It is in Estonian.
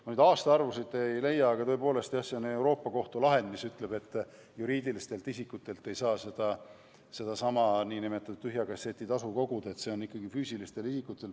Ma nüüd aastaarvusid ei leia, aga see on tõepoolest Euroopa Kohtu lahend, mis ütleb, et juriidilistelt isikutelt ei saa sedasama nn tühja kasseti tasu koguda, peab olema ikkagi füüsiline isik.